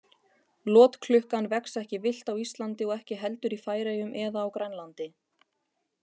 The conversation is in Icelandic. Lotklukkan vex ekki villt á Íslandi og ekki heldur í Færeyjum eða á Grænlandi.